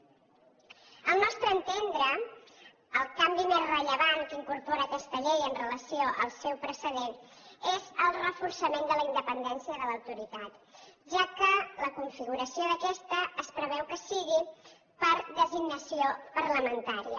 al nostre entendre el canvi més rellevant que incorpora aquesta llei amb relació al seu precedent és el reforçament de la independència de l’autoritat ja que la configuració d’aquesta es preveu que sigui per designació parlamentària